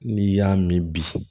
N'i y'a min bi